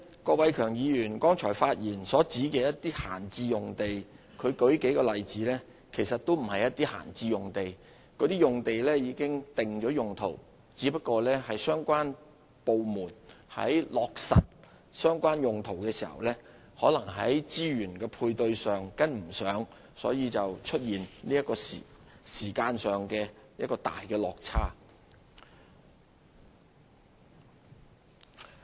郭偉强議員在剛才發言所舉出的一些閒置用地例子，其實並不是閒置用地，該等用地已定了用途，只不過相關部門在落實其用途時，可能在資源的配合上跟不上，所以出現時間上的一大落差。